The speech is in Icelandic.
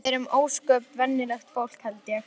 Við erum ósköp venjulegt fólk held ég.